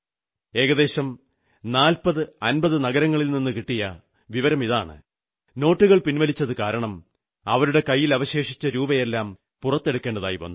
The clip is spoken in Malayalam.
ഏകദേശം 4050 നഗരങ്ങളിൽ നിന്നു കിട്ടിയ വിവരമിതാണ് നോട്ടുകൾ പിൻവലിച്ചതുകാരണം അവരുടെ കൈയിൽ അവശേഷിച്ച രൂപയെല്ലാം പുറത്തെടുക്കേണ്ടി വന്നു